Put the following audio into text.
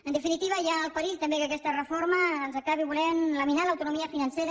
en definitiva hi ha el perill també que aquesta reforma ens acabi volent laminar l’autonomia financera